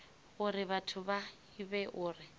uri vhathu vha ivhe uri